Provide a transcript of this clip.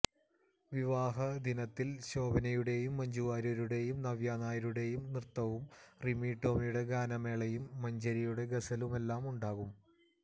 വിവാഹ ദിനത്തില് ശോഭനയുടേയും മഞ്ജുവാര്യരുടേയും നവ്യ നായരുടേയും നൃത്തവും റിമി ടോമിയുടെ ഗാനമേളയും മഞ്ജരിയുടെ ഗസലുമെല്ലാം ഉണ്ടാകും